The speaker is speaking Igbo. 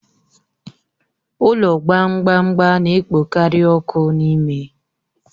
Ụlọ gbamgbam gba na-ekpokarị ọkụ n'ime